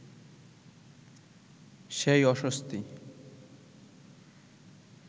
সেই অস্বস্তি